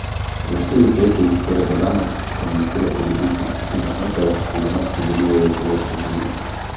V štirih letih, torej do danes, nam je uspelo pridobiti skupino kmetov, ki za nas pridelujejo ekološka živila.